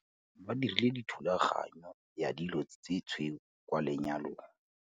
Ba dirile thulaganyô ya dilo tse tshweu kwa lenyalong.